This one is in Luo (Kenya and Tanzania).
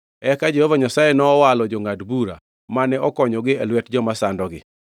Eka Jehova Nyasaye nowalo jongʼad bura, mane okonyogi e lwet joma sandogi.